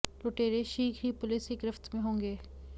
लुटेरे शीघ्र ही पुलिस की गिरफ्त में होंगे